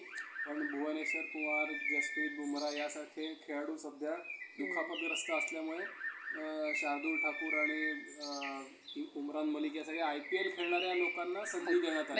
सविनय कायदेभंगाच्या चळवळीत भाग घेतला. त्यांनी 'कॉंग्रेस' नावा~ नावाचे साहित्यक अं साहित्यक काढणे आडले